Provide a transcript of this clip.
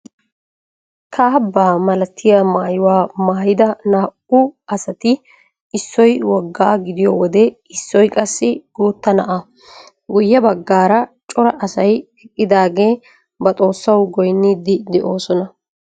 Kaabbaa malatiyaa maayuwaa maayida naa"u asati issoy woggaa gidiyoo wode issoy qassi guutta naa'aa. Guyye baggaara cora asay eqqidaagee ba xoossawu goyniidi de'oosona.